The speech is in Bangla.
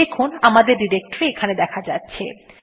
দেখুন আমাদের ডিরেক্টরী এখানে দেখা যাচ্ছে